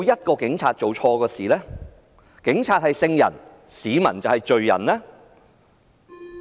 警察是聖人，市民就是罪人嗎？